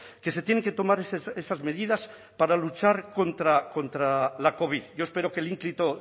que se tienen que tomar esas medidas para luchar contra la covid yo espero que el ínclito